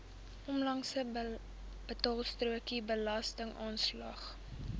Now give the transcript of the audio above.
onlangse betaalstrokie belastingaanslag